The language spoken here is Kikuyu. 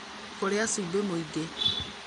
kũrĩa cumbĩ mũingĩ